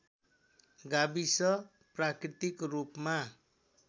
गाविस प्राकृतिक रूपमा